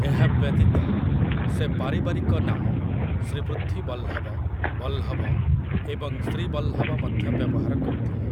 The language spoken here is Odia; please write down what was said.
ଏହା ବ୍ୟତୀତ, ସେ ପାରିବାରିକ ନାମ ଶ୍ରୀପୃଥ୍ୱୀବଲ୍ଲଭ, ବଲ୍ଲଭ ଏବଂ ଶ୍ରୀବଲ୍ଲଭ ମଧ୍ୟ ବ୍ୟବହାର କରୁଥିଲେ ।